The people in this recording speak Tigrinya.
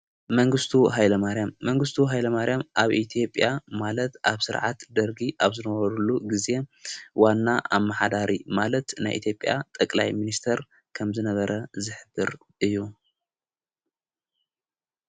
መንግሥቱ ኃይለ ማርያም መንግሥቱ ሃይሎ ማርያም ኣብ ኢቲዬጴያ ማለት ኣብ ሥርዓት ደርጊ ኣብ ዝነበሩሉ ጊዜ ዋና ኣብ መሓዳሪ ማለት ናይ ኢቲዬጴያ ጠቕላይ ምንስተር ከምዝነበረ ዝኅብር እዩ።